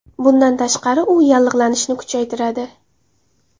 Bundan tashqari u yallig‘lanishni kuchaytiradi.